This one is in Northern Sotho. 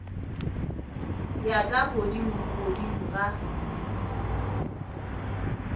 ya ka godimo godimo ga